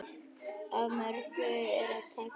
Af mörgu er að taka.